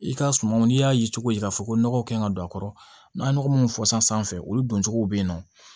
I ka sumanw n'i y'a ye cogo di k'a fɔ ko nɔgɔ kɛn ka don a kɔrɔ n'a ye nɔgɔ munnu fɔ sisan olu doncogow bɛ yen nɔ